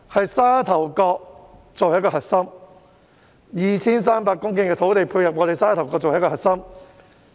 以沙頭角作為核心，用 2,300 公頃土地配合我們的沙頭角作為核心。